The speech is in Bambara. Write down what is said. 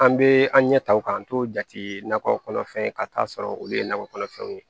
An bɛ an ɲɛ ta o k'an to jate nakɔ kɔnɔ fɛn ka t'a sɔrɔ olu ye nakɔ kɔnɔfɛnw ye